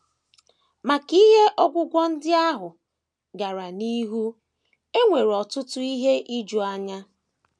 Ma ka ihe ogwugwu ndị ahụ gara n’ihu, e nwere ọtụtụ ihe ijuanya.